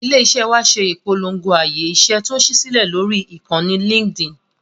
Ilé-iṣẹ́ wa ṣe ìpolongo ààyè iṣẹ́ tó ṣí sílẹ̀ lórí ìkànnì Linkedin.